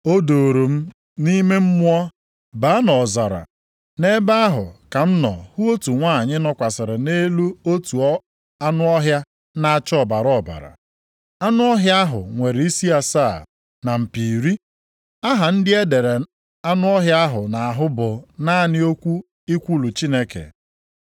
O duuru m nʼime mmụọ baa nʼọzara. Nʼebe ahụ ka m nọ hụ otu nwanyị nọkwasịrị nʼelu otu anụ ọhịa na-acha ọbara ọbara. Anụ ọhịa ahụ nwere isi asaa na mpi iri. Aha ndị e dere anụ ọhịa ahụ nʼahụ bụ naanị okwu ikwulu Chineke.